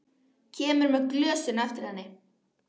Kemur með glösin á eftir henni.